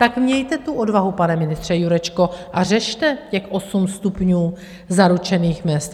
Tak mějte tu odvahu, pane ministře Jurečko, a řešte těch osm stupňů zaručených mezd.